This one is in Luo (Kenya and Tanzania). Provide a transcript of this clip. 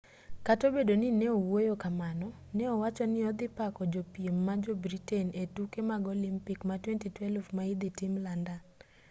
kata obedo ni neowuoyo kamano ne owachoni ni odhi pako jopiem ma jo-britain e tuke mag olimpik ma 2012 ma idhi tim london